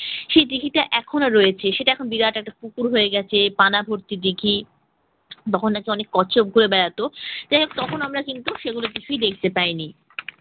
সে দীঘিটা এখনো রয়েছে সেটা এখন বিরাট একটা পুকুর হয়ে গেছে পানা ভর্তি দীঘি তখন নাকি অনেক কচ্ছপ ঘুরে বেড়াত তখন আমরা কিন্তু সেগুলো কিছুই দেখতে পাইনি।